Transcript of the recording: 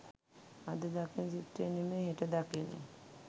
අද දකින චිත්‍රය නෙමෙයි හෙට දකින්නේ